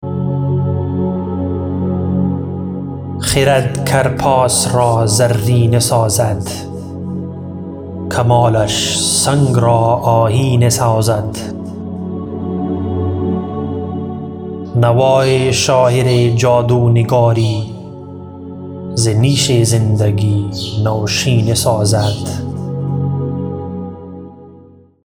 خرد کرپاس را زرینه سازد کمالش سنگ را آیینه سازد نوای شاعر جادو نگاری ز نیش زندگی نوشینه سازد